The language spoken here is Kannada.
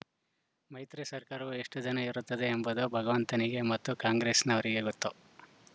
ಮೈತ್ರಿ ಸರ್ಕಾರವು ಎಷ್ಟುದಿನ ಇರುತ್ತದೆ ಎಂಬುದು ಭಗವಂತನಿಗೆ ಮತ್ತು ಕಾಂಗ್ರೆಸ್‌ನವರಿಗೆ ಗೊತ್ತು